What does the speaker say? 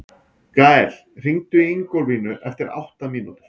Gael, hringdu í Ingólfínu eftir átta mínútur.